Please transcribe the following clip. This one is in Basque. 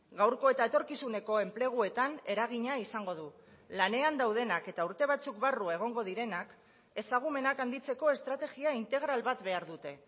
gaurko eta etorkizuneko enpleguetan eragina izango du lanean daudenak eta urte batzuk barru egongo direnak ezagumenak handitzeko estrategia integral bat behar dute